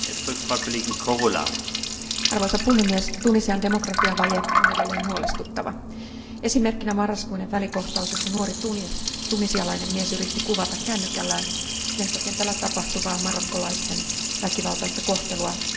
Arvoisa puhemies, Tunisian demokratiavaje on edelleen huolestuttava, esimerkkinä marraskuinen välikohtaus, jossa nuori tunisialainen mies yritti kuvata kännykällään lentokentällä tapahtuvaa marokkolaisten väkivaltaista kohtelua Tunisian viranomaisten toimesta.